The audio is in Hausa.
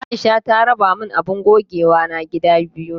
Aisha ta raba min abun gogewana gida biyu.